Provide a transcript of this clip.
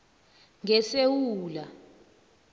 ngesewula